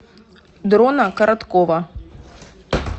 дрона короткова